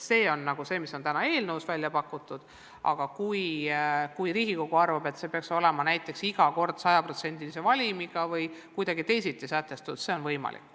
See on see, mis on täna eelnõus välja pakutud, aga kui Riigikogu arvab, et see peaks iga kord olema näiteks 100%-lise valimiga või kuidagi teisiti sätestatud, siis ka see on võimalik.